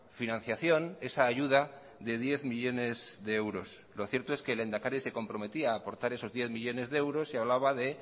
financiación esa ayuda de diez millónes de euros lo cierto es que el lehendakari se comprometía a aportar esos diez millónes de euros y hablaba de